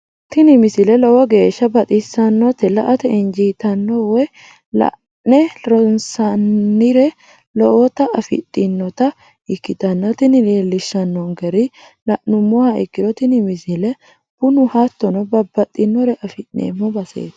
tini misile lowo geeshsha baxissannote la"ate injiitanno woy la'ne ronsannire lowote afidhinota ikkitanna tini leellishshannonkeri la'nummoha ikkiro tini misile bunu hattono babbaxxinore afi'neemmo baseeti.